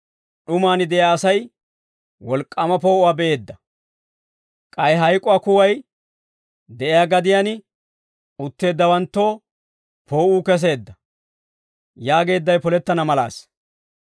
d'umaan de'iyaa asay, wolk'k'aama poo'uwaa be'eedda. K'ay hayk'uwaa kuway de'iyaa gadiyaan utteeddawanttoo poo'uu keseedda» yaageeddawe polettana malaasa.